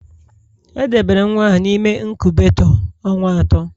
Edobere nwa ahụ n'ime inkubetoo ọnwa atọ